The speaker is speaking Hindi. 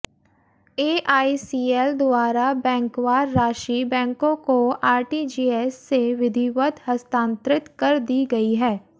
एआईसीएल द्वारा बेंकवार राशि बेंकों को आरटीजीएस से विधिवत हस्तांतरित कर दी गई है